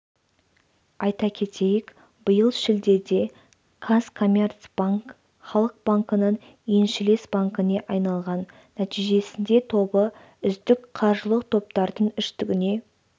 айта кетейік биыл шілдеде казкоммерцбанк халық банкінің еншілес банкіне айналған нәтижесінде тобы үздік қаржылық топтардың үштігіне